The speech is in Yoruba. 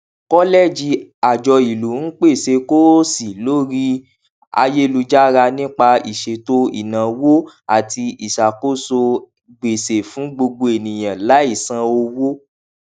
kọlẹẹjì àjọ ìlú ń pèsè kóòsì lórí ayélujára nípa ìṣètò ináwó àti ìsàkóso gbèsè fún gbogbo ènìyàn láì san owó